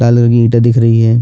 लाल रंग की ईटा दिख रही है।